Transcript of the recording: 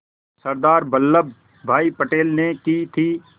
सरदार वल्लभ भाई पटेल ने की थी